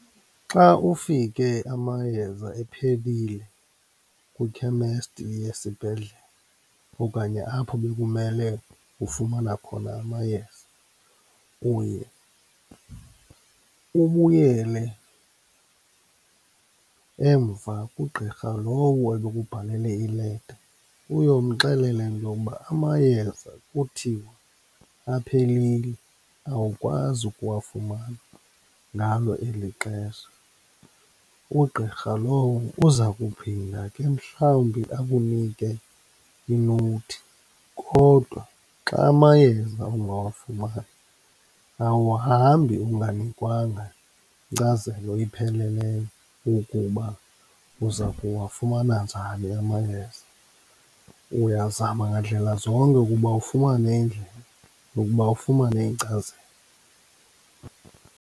Xa ufike amayeza ephelile kwikhemesti yesibhedlele okanye apho bekumele ufumana khona amayeza, uye ubuyele emva kugqirha lowo ebekubhalele ileta, uyomxelela into yokuba amayeza kuthiwa aphelile, awukwazi ukuwafumana ngalo elixesha. Ugqirha lowo uza kuphinda ke mhlawumbi akunike i-note. Kodwa xa amayeza ungawafumani awuhambi unganikwanga nkcazelo ipheleleyo yokuba uza kuwafumana njani amayeza, uyazama ngandlela zonke ukuba ufumane indlela yokuba ufumane inkcazelo.